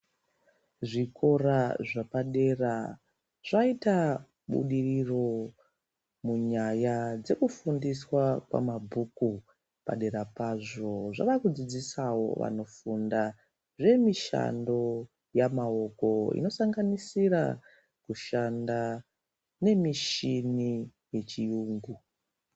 Zvikora zvepadera zvaita budiriro munyaya dzekufundiswa kwamabhuku padera pazvo zvavakudzidzisawo vanofunda zvemishando yamaoko inosanganisira kushanda nemichini yechiyungu.